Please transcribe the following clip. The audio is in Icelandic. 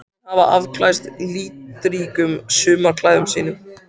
Fjöllin hafa afklæðst litríkum sumarklæðum sínum.